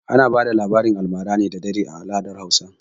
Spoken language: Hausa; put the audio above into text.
Ana bada labaran almara da dare ne a al'adar Hausawa.